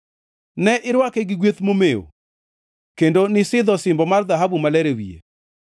Ne irwake gi gweth momew kendo nisidho osimbo mar dhahabu maler e wiye.